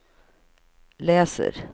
läser